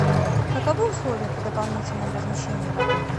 каковы условия при дополнительном размещении в отеле